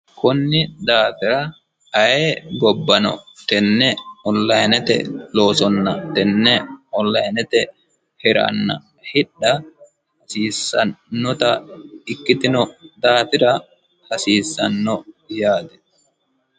Koni daafira ayee gobbano tene online loossonna tene online hiranna hidha hasiisanotta ikkitino daafira hasiisano yaate.